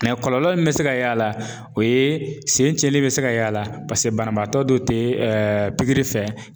kɔlɔlɔ min bɛ se ka y'a la o ye sen cɛnlen bɛ se ka y'a la paseke banabaatɔ dɔ tɛ pikiri fɛ